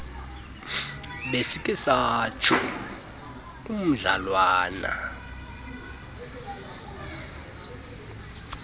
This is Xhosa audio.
besikhe satsho umdlalwana